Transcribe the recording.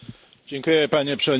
Panie Przewodniczący!